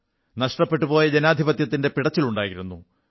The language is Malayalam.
നഷ്ടപ്പെട്ടുപോയ ജനാധിപത്യത്തിന്റെ പിടച്ചിലുണ്ടായിരുന്നു